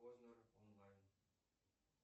познер онлайн